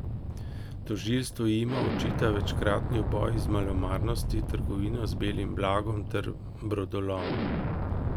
Tožilstvo jima očita večkratni uboj iz malomarnosti, trgovino z belim blagom ter brodolom.